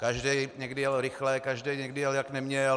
Každý někdy jel rychle, každý někdy jel, jak neměl.